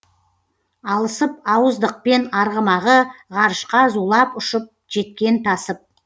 алысып ауыздықпен арғымағы ғарышқа зулап ұшып жеткен тасып